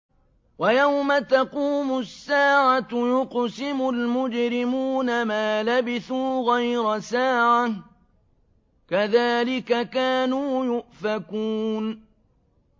وَيَوْمَ تَقُومُ السَّاعَةُ يُقْسِمُ الْمُجْرِمُونَ مَا لَبِثُوا غَيْرَ سَاعَةٍ ۚ كَذَٰلِكَ كَانُوا يُؤْفَكُونَ